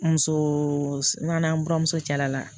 Muso n'a n'ura muso caya la